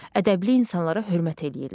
Ədəbli insanlara hörmət eləyirlər.